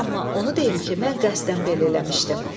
Amma onu deyim ki, mən qəsdən belə eləmişdim.